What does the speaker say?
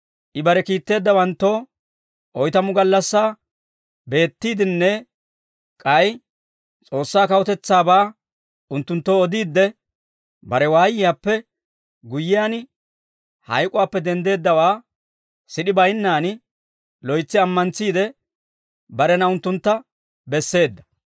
I bare kiitteeddawanttoo oytamu gallassaa beettiiddinne k'ay S'oossaa kawutetsaabaa unttunttoo odiidde, bare waayiyaappe guyyiyaan, hayk'uwaappe denddeeddawaa sid'e baynnaan loytsi ammantsiide, barena unttuntta besseedda.